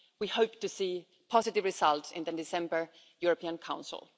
We hope to see positive results in the December European Council.